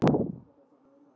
En fleira kom til.